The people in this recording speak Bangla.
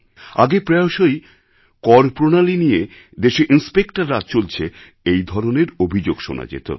আগে প্রায়শই করপ্রণালী নিয়ে দেশে ইনস্পেকটর রাজ চলছে এই ধরনের অভিযোগ শোনা যেত